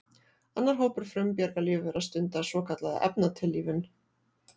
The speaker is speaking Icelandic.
Annar hópur frumbjarga lífvera stundar svokallaða efnatillífun.